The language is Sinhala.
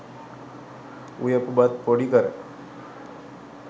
උයපු බත් පොඩි කර